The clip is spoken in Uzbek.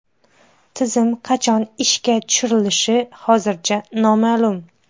Tizim qachon ishga tushirilishi hozircha noma’lum.